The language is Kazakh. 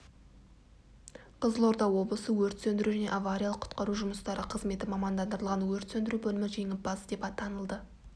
қызылорда облысы өрт сөндіру және авариялық-құтқару жұмыстары қызметі мамандандырылған өрт сөндіру бөлімі жеңімпаз деп танылды